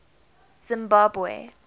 zimbabwe